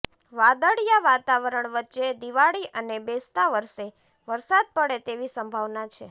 વાદળિયા વાતાવરણ વચ્ચે દિવાળી અને બેસતા વર્ષે વરસાદ પડે તેવી સંભાવના છે